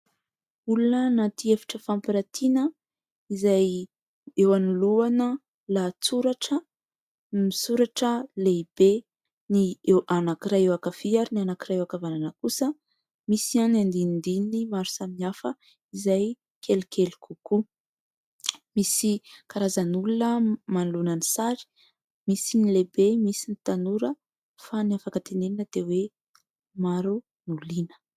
Olona anaty efitra fampirantiana, izay eo anolohana lahatsoratra misoratra lehibe : ny anankiray eo ankavia ary ny anankiray eo ankavanana kosa. Misy ihany andinindininy maro samy hafa izay kelikely kokoa. Misy karazan'olona manolohana ny sary : misy ny lehibe, misy ny tanora, fa ny afaka tenenina dia hoe maro no liana.